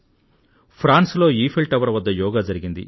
France లో Eiffel tower వద్ద యోగా జరిగింది